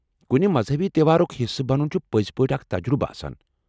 کُنہ مذہبی تہوارُك حصہٕ بنُن چھ پٔزۍ پٲٹھۍ اکھ تجرُبہٕ آسان۔